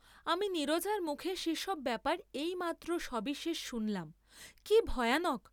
আমি নীরজার মুখে সে সব ব্যাপার এই মাত্র সবিশেষ শুনলেম, কি ভয়ানক।